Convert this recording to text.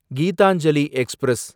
Gitanjali express